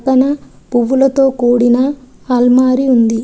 తన పువ్వులతో కూడిన అల్మారి ఉంది.